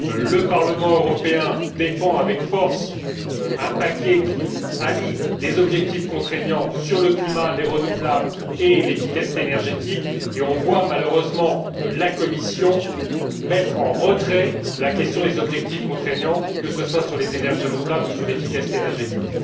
Le Parlement européen défend avec force un paquet qui allie des objectifs contraignants sur le climat, les énergies renouvelables et l'efficacité énergétique et l'on voit, malheureusement, la Commission mettre en retrait la question des objectifs contraignants, que ce soit sur les énergies renouvelables ou sur l'efficacité énergétique.